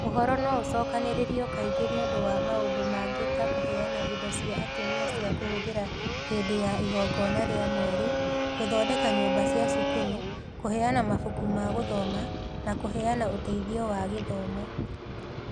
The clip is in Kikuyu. Ũhoro no ũcookanĩrĩrio kaingĩ nĩ ũndũ wa maũndũ mangĩ ta kũheana indo cia atumia cia kũhũthĩra hĩndĩ ya igongona rĩa mweri, gũthondeka nyũmba cia cukuru, kũheana mabuku ma gũthoma, na kũheana ũteithio wa gĩthomo.